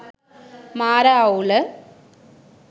මාර අවුල